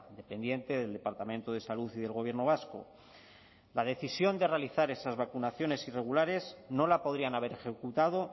dependiente del departamento de salud y del gobierno vasco la decisión de realizar esas vacunaciones irregulares no la podrían haber ejecutado